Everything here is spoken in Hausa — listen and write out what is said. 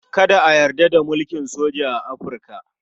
Kada a yarda da mulkin soja a Afirka.